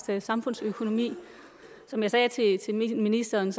samfundsøkonomi som jeg sagde til ministeren